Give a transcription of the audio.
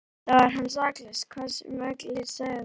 Auðvitað var hann saklaus hvað sem allir sögðu.